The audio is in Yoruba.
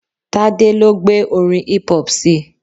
Tade lo gbé orin hip hop sii